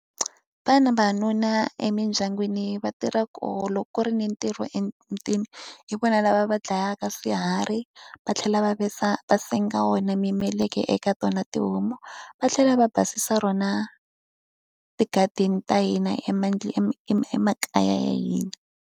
vavanuna emidyangwini va tirha kona, loko ku ri ni ntirho emutini hi vona lava va dlayaka swiharhi va tlhela va va senga wona mimeleka eka tona tihomu, va tlhela va basisa rona ti-garden ta hina emakaya ya hina.